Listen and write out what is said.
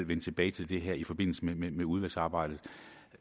vende tilbage til det her i forbindelse med med udvalgsarbejdet